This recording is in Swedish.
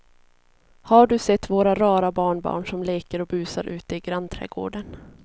Har du sett våra rara barnbarn som leker och busar ute i grannträdgården!